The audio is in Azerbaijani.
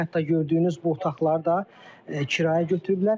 Hətta gördüyünüz bu otaqları da kirayə götürüblər.